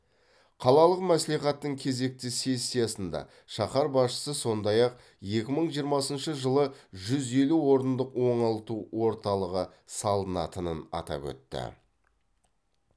қалалық мәслихаттың кезекті сессиясында шаһар басшысы сондай ақ екі мың жиырмасыншы жылы жүз елу орындық оңалту орталығы салынатынын атап өтті